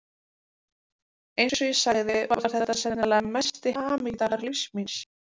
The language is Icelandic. Eins og ég sagði var þetta sennilega mesti hamingudagur lífs míns.